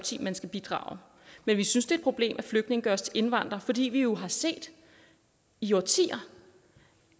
man skal bidrage men vi synes det problem at flygtninge gøres til indvandrere fordi vi jo har set i årtier